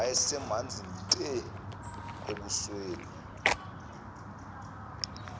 wayesemanzi te ebusweni